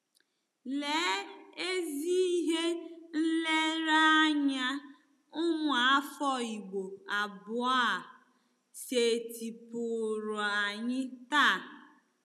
Lee ezi ihe nlereanya ụmụafọ Igbo abụọ a setịpụụrụ anyị taa!